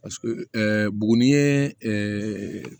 Paseke ɛɛ buguni ye